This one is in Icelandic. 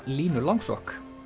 Línu langsokk